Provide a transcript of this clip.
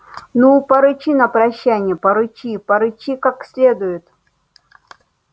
ну порычи на прощанье порычи порычи как следует